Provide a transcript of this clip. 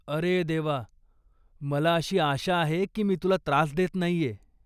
अरे देवा! मला अशी आशा आहे की मी तुला त्रास देत नाहीये.